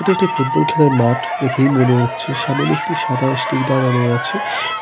এটা একটি ফুটবল খেলার মাঠ দেখেই মনে হচ্ছে সামনে একটি সাদা স্টিক দাঁড়ানো আছে